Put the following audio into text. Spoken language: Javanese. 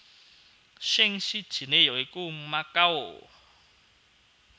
Sing sijiné ya iku Makau